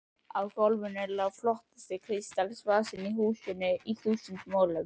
Á GÓLFINU LÁ FLOTTASTI KRISTALSVASINN Í HÚSINU Í ÞÚSUND MOLUM!